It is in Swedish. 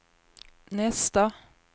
nästa